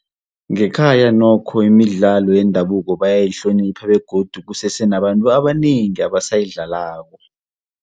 Ngekhaya nokho imidlalo yendabuko bayayihlonipha begodu kusese nabantu abanengi abasayidlalako.